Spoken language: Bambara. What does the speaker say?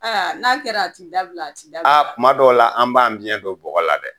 Aa n'a kɛra a ti dabila a ti dabila, a kuma dɔw la an b'an biɲɛn don bɔgɔ la dɛ!